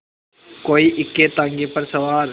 कोई इक्केताँगे पर सवार